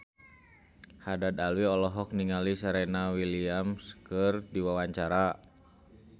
Haddad Alwi olohok ningali Serena Williams keur diwawancara